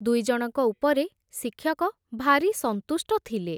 ଦୁଇଜଣଙ୍କ ଉପରେ ଶିକ୍ଷକ ଭାରି ସନ୍ତୁଷ୍ଟ ଥିଲେ ।